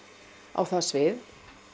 á það svið